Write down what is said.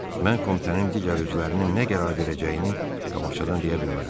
Mən komitənin digər üzvlərinin nə qərar verəcəyini qabaqcadan deyə bilmərəm.